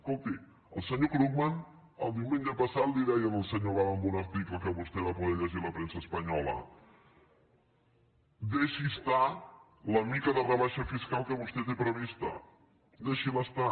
escolti el senyor krugman el diumenge passat li deia al senyor obama en un article que vostè va poder llegir a la premsa espanyola deixi estar la mica de rebaixa fiscal que vostè té prevista deixi·la estar